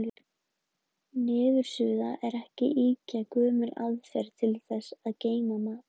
Niðursuða er ekki ýkja gömul aðferð til þess að geyma mat.